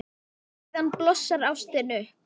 Og síðan blossar ástin upp.